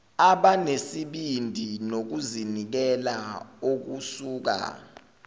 abanesibindi nokuzinikela okusuka